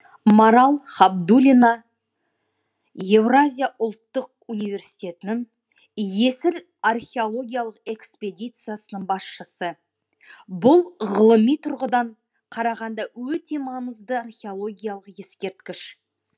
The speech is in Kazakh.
марал хабдулина евразия ұлттық университетінің есіл археологиялық экспедициясының басшысы бұл ғылыми тұрғыдан қарағанда өте маңызды археологиялық ескерткіш